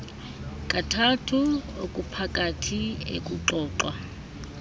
kathathu okuphakathi ekuxoxwa